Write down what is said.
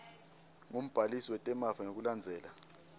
ngumbhalisi wetemafa ngekulandzela